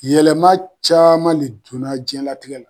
Yɛlɛma caaman le donna jiyɛnlatigɛ la